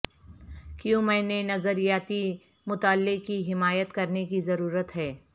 کیوں میں نے نظریاتی مطالعے کی حمایت کرنے کی ضرورت ہے